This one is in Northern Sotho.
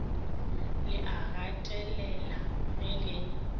le a ngatela ge le